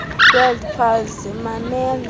word puzzle mamela